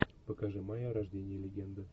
покажи майя рождение легенды